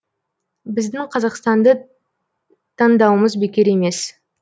біздің қазақстанды таңдауымыз бекер емес